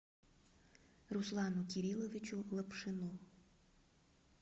руслану кирилловичу лапшину